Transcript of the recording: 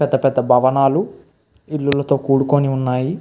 పెద్ద పెద్ద భవనాలు ఇల్లులతో కూడుకొన్ని ఉన్నాయి.